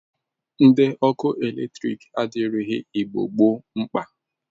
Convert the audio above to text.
Ndị ọrụ eletrik adịrighi Igbo gboo mkpa.